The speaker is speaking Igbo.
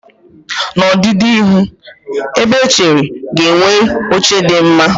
N'ọdịnihu, ebe echere ga-enwe oche dị mma.